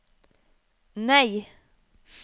nei